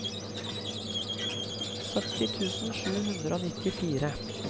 sytti tusen sju hundre og nittifire